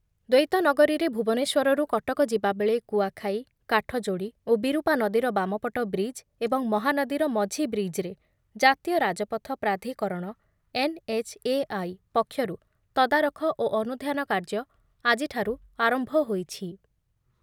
ଦ୍ବୈତନଗରୀରେ ଭୁବନେଶ୍ୱରରୁ କଟକ ଯିବା ବେଳେ କୁଆଖାଇ, କାଠଯୋଡ଼ି ଓ ବିରୁପା ନଦୀର ବାମପଟ ବ୍ରିଜ ଏବଂ ମହାନଦୀର ମଝି ବ୍ରିଜରେ ଜାତୀୟ ରାଜପଥ ପ୍ରାଧିକରଣ ଏନ୍ଏଚ୍ଏଆଇ ପକ୍ଷରୁ ତଦାରଖ ଓ ଅନୁଧ୍ୟାନ କାର୍ଯ୍ୟ ଆଜିଠାରୁ ଆରମ୍ଭ ହୋଇଛି ।